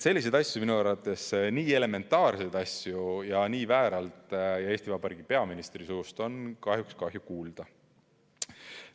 Selliseid asju, minu arvates nii elementaarseid asju nii vääralt esitatuna on Eesti Vabariigi peaministri suust kahjuks kahju kuulda.